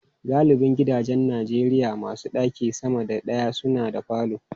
Galibin gidajen Najeriya masu ɗaki sama da daya suna da falo.